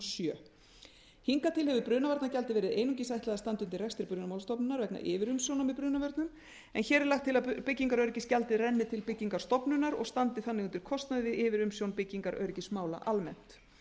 sjö hingað til hefur brunavarnagjaldi verið einungis ætlað að standa undir rekstri brunamálastofnunar vegna yfirumsjónar með brunavörnum en hér er lagt til að byggingaröryggisgjaldið renni til byggingarstofnunar og standi þannig undir kostnaði við yfirumsjón byggingaröryggismála almennt